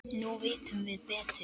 Nú vitum við betur.